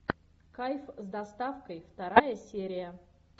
кайф с доставкой вторая серия